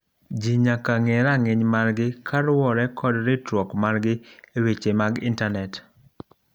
Ji nyaka ng'e ranginy margi kaluwore kod ritruok margi eweche mag intanet